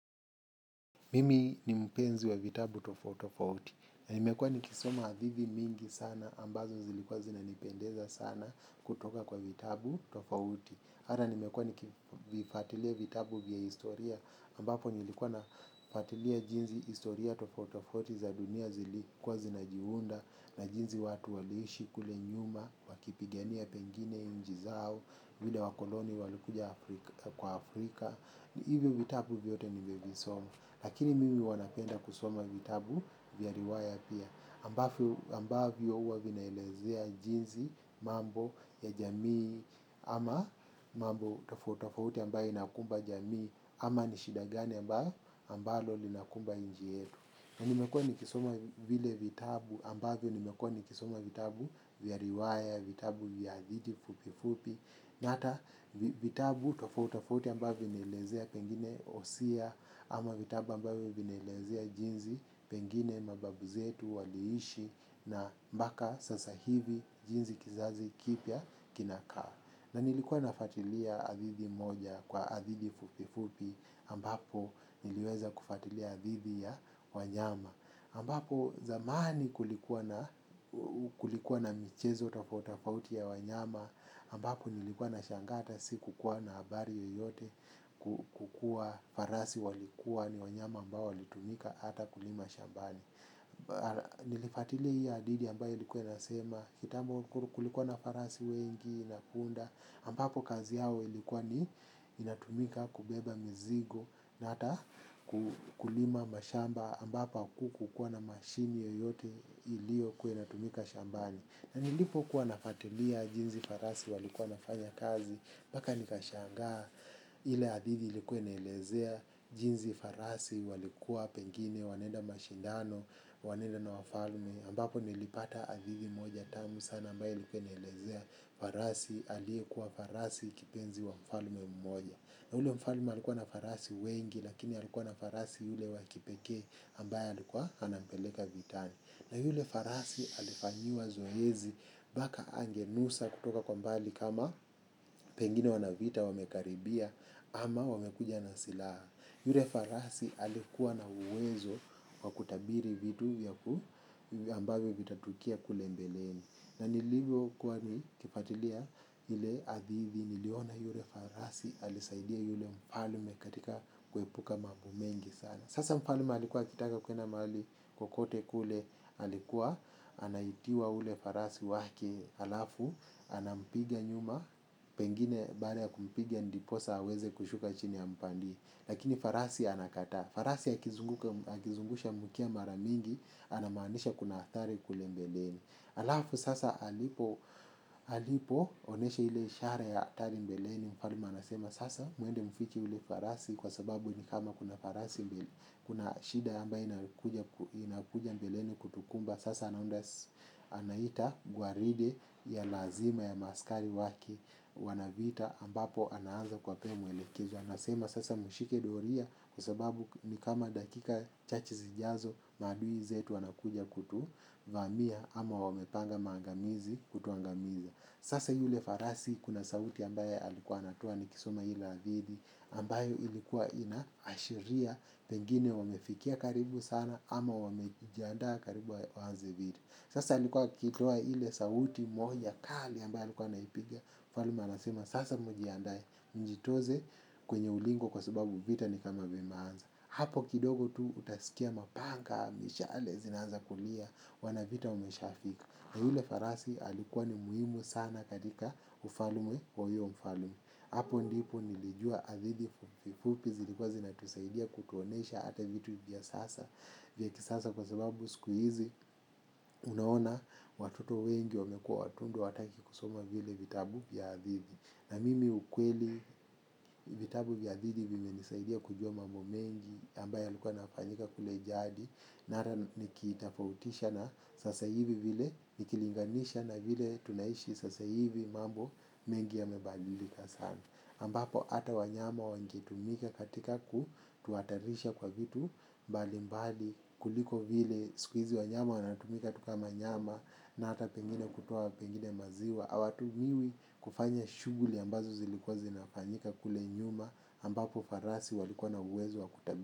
Mimi ni mpenzi wa vitabu tofauti tofauti, na nimekuwa nikisoma hadithi mingi sana ambazo zilikuwa zinanipendeza sana kutoka kwa vitabu tofauti. Hata nimekuwa nikifuatilia vitabu vya historia ambapo nilikuwa nafuatilia jinei historia tofauti tofauti za dunia zilikuwa zinajiunda na jinsi watu waliishi kule nyuma wakipigania pengine nchi zao, vile wakoloni walikuja kwa Afrika. Hivyo vitabu vyote nivevisoma. Lakini mimi huwa napenda kusoma vitabu vya riwaya pia. Ambavyo huwa vinaelezea jinsi mambo ya jamii ama mambo tofauti tofauti ambayo inakumba jamii ama ni shida gani ambayo linakumba nchi yetu. Na nimekuwa nikisoma vile vitabu ambavyo nimekuwa nikisoma vitabu vya riwaya, vitabu vya hadithi fupi fupi, na hata vitabu tofauti tofauti ambavyo vinaelezea pengine hosia, ama vitabu ambavyo vinelezea jinsi pengine mababu zetu waliishi na mpaka sasa hivi jinsi kizazi kipya kinakaa. Na nilikuwa nafuatilia hadithi moja kwa hadithi fupi fupi ambapo niliweza kufuatilia hadithi ya wanyama. Ambapo zamani kulikuwa na michezo tofauti tofauti ya wanyama ambapo nilikuwa nashangaa hata si kukuwa na habari yoyote kuwa farasi walikuwa ni wanyama ambao walitumika hata kulima shambani. Nilifuatilia hii hadithi ambayo ilikuwa inasema kitambo kulikuwa na farasi wengi na punda ambapo kazi yao ilikuwa ni inatumika kubeba mizigo na hata kulima mashamba ambapo hakukua na mashini yoyote iliyokuwa inatumika shambani. Na nilipo kuwa nafuatilia jini farasi walikuwa wanafanya kazi mpaka nikashangaa ile hadithi ilikuwa inaelezea jinsi farasi walikuwa pengine wanaenda mashindano, wanaenda na wafalme. Ambapo nilipata hadithi moja tamu sana ambayo ilikua inaelezea farasi aliyekuwa farasi kipenzi wa mfalme mmoja. Na ule mfalme alikuwa na farasi wengi lakini alikuwa na farasi yule wa kipekee ambaye alikuwa anampeleka vitani. Na yule farasi alifanyiwa zoezi mpaka angenusa kutoka kwa mbali kama pengine wanaa vita wamekaribia ama wamekuja na silaha. Yule farasi alikuwa na uwezo kwa kutabiri vitu ambavyo vitatukia kule mbeleni. Na nilivyokuwa nikifuatilia ile hadithi, niliona yule farasi alisaidia yule mfalme katika kuepuka mambo mengi sana. Sasa mfalme alikuwa akitaka kuenda mahali kukote kule alikuwa anaitiwa yule farasi wake alafu. Anampiga nyuma pengine baada ya kumpiga ndiposa aweze kushuka chini ampande lakini farasi anakataa. Farasi akizungusha mkia mara mingi anamanisha kuna athari kule mbeleni. Alafu sasa alipo alipoonesha ile ishara ya hatari mbeleni, mfalme anasema sasa muende mfiche yule farasi kwa sababu ni kama kuna farasi kuna shida ambayo inakuja mbeleni kutukumba. Sasa anaita gwaride ya lazima ya maaskari wake wana-vita ambapo anaanza kuwapee mwelekezo. Anasema sasa mshike doria kwa sababu ni kama dakika chache zijazo maadui zetu wanakuja kutu vamia ama wamepanga maangamizi kutuangamiza. Sasa yule farasi kuna sauti ambayo alikuwa anatoa nikisoma ile hadithi ambayo ilikuwa inaashiria pengine wamefikia karibu sana ama wamejianda karibu waanze vita. Sasa alikuwa akiitoa ile sauti moja kali ambayo alikuwa anaipigia, mfalme anasema sasa mjiandae, mjitoze kwenye ulingo kwa sababu vita ni kama vimeanza. Hapo kidogo tu utasikia mapanga, mishale zinaanza kulia, wana-vita wameshafika. Yule farasi alikuwa ni muhimu sana katika ufalme wa huyo mfalme. Hapo ndipo nilijua hadithi fupi fupi zilikua zinatusaidia kutuonyesha hata vitu hivi vya sasa vya kisasa kwa sababu siku hizi unaona watoto wengi wamekua watundu hawataki kusoma vile vitabu vya hadithi. Na mimi ukweli vitabu vya hadithi vimenisaidia kujua mambo mengi ambayo yalikua yanafanyika kule jadi. Na hata nikiitofautisha na sasa hivi vile nikilinganisha na vile tunaishi sasa hivi mambo mengi yamebadilika sana ambapo hata wanyama wangetumika katika kutuhatarisha kwa vitu mbali mbali kuliko vile siku hizi wanyama wanatumika tu kama nyama na hata pengine kutoa pengine maziwa. Hawatumiwi kufanya shughuli ambazo zilikuwa zinafanyika kule nyuma ambapo farasi walikuwa na uwezo wa.